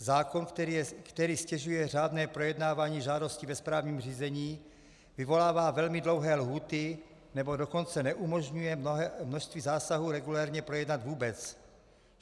Zákon, který ztěžuje řádné projednávání žádostí ve správním řízení, vyvolává velmi dlouhé lhůty, anebo dokonce neumožňuje množství zásahů regulérně projednat vůbec.